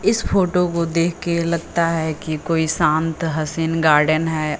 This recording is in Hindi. इस फोटो को देख के लगता है कि कोई शान्त हसीन गार्डेन है।